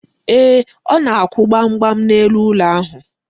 Ee, ọ na-akwụ gbam gbam n'elu ụlọ ahụ.